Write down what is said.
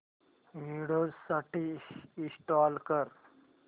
Windows साठी install कर